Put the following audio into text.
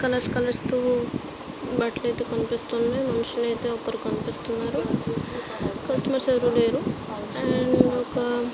Colours colours తో బట్టలు అయితే కనిపిస్తున్నాయి. మనుషులు అయితే ఒకరు కనిపిస్తున్నారు. కస్టమర్స్ అయితే ఎవరు లేరు అండ్ ఒక --